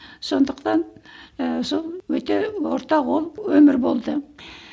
сондықтан ы сол өте орта қол өмір болды